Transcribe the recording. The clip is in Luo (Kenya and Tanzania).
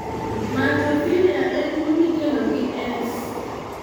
(maltophilia) en tuwo mikelo gi S.